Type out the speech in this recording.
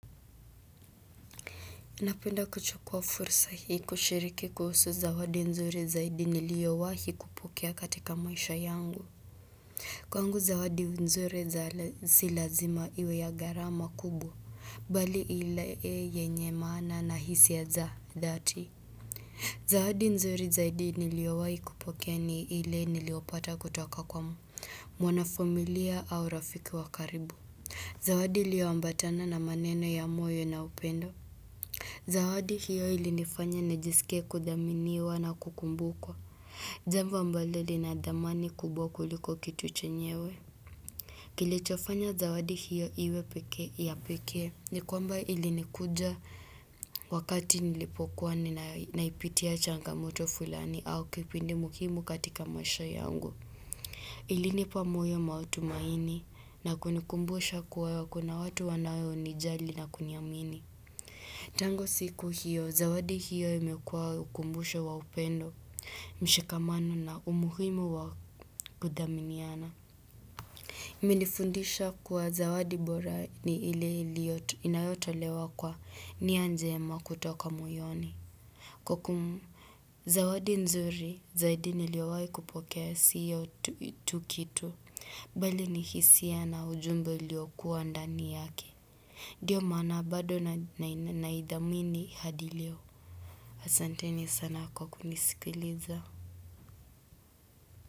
Napenda kuchukua fursa hii kushiriki kuhusu zawadi nzuri zaidi niliowahi kupokea katika maisha yangu Kwangu zawadi nzuri za si lazima iwe ya gharama kubwa Bali ile yenye maana na hisia za dhati Zawadi nzuri zaidi niliowahi kupokea ni ile niliopata kutoka kwa mwana familia au rafiki wa karibu Zawadi iliyoambatana na maneno ya moyo na upendo Zawadi hiyo ilinifanya nijisikie kuthaminiwa na kukumbukwa. Jambo ambalo lina dhamani kubwa kuliko kitu chenyewe. Kilichofanya zawadi hiyo iwe pekee ya pekee. Ni kwamba ilinikuja wakati nilipokuwa na naipitia changamoto fulani au kipindi muhimu katika maisha yangu. Ilinipa moyo na matumaini na kunikumbusha kuwa kuna watu wanaonijali na kuniamini. Tangu siku hiyo, zawadi hiyo imekua ukumbusho wa upendo, mshikamano na umuhimu wa kudhaminiana. Nilifundishwa kuwa zawadi bora ni ile iliyo inayotolewa kwa ni njema kutoka moyoni. Kwa kum, zawadi nzuri, zaidi niliowahi kupokea siyo tu kitu, bali ni hisia na ujumbe uliokuwa ndani yake. Ndiyo maana bado naidhamini hadi leo. Asanteni sana kunisikiliza.